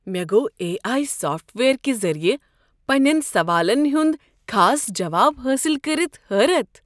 مےٚ گو٘ A I software کہ ذٔریعہٕ پنٛنین سوالن ہنٛد خاص جواب حٲصل کٔرتھ حٲرتھ۔